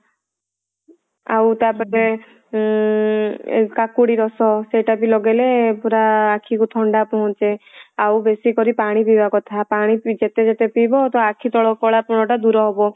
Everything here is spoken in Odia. ଆଉ ତା ପରେ ଉଁ କାକୁଡି ରସ ସେଇଟା ବି ଲଗେଇଲେ ପୁରା ଆଖି କୁ ଥଣ୍ଡା ପହଞ୍ଚେ ଆଉ ବେଶି କରି ପାଣି ପିଇବା କଥା ପାଣି ଯେତେ ଯେତେ ପିଇବ ତ ଆଖି ତଳ କଳାପଣ ଟା ଦୂର ହବ